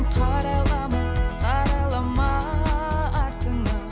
қарайлама қарайлама артыңа